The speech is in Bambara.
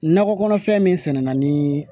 Nakɔ kɔnɔfɛn min sɛnɛna ni